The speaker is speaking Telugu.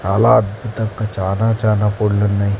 చాలా అద్భుతంగా చాలా చాలా కోడ్లున్నాయ్.